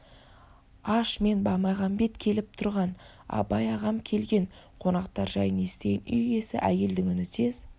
аш мен баймағамбет келіп тұрған абай ағам келген қонақтар жайын естіген үй иесі әйелдің үні тез